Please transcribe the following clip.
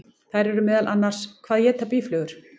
Þær eru meðal annars: Hvað éta býflugur?